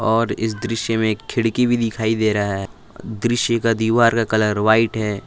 और इस दृश्य में एक खिड़की भी दिखाई दे रहा है दृश्य का दीवार का कलर व्हाईट है।